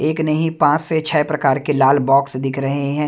एक नहीं पांच से छह प्रकार के लाल बॉक्स दिख रहे है ।